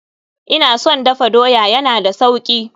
Ina son dafa doya, ya na da sauki.